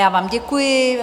Já vám děkuji.